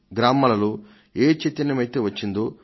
గ్రామాలలో ఏ చైతన్యమైతే వచ్చిందో